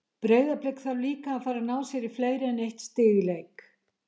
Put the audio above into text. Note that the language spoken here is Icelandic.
Breiðablik þarf líka að fara að ná sér í fleiri en eitt stig í leik.